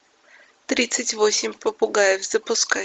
тридцать восемь попугаев запускай